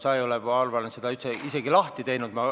Sa ei ole, ma arvan, seda isegi lahti teinud.